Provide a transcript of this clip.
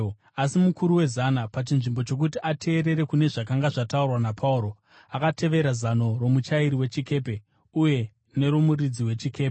Asi mukuru wezana, pachinzvimbo chokuti ateerere kune zvakanga zvataurwa naPauro, akatevera zano romuchairi wechikepe uye neromuridzi wechikepe.